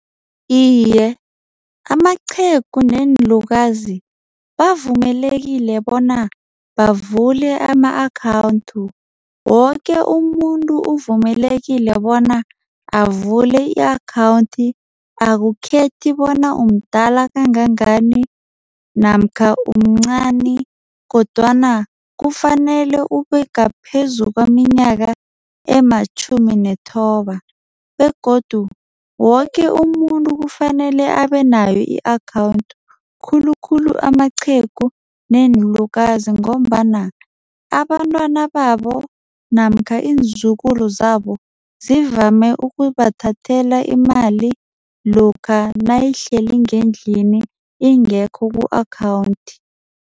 Iye, amaqhegu neenlukazi bavumelekile bona bavule ama-account. Woke umuntu uvumelekile bona avule i-account. Akukhethi bona umdala kangangani namkha umncani kodwana kufanele ubengaphezu kweminyaka ematjhumi nethoba begodu woke umuntu kufanele abenayo i-account khulukhulu amaqhegu neenlukazi ngombana abantwana babo namkha iinzukulu zabo zivame ukubathathela imali lokha nayihleli ngendlini ingekho ku-account.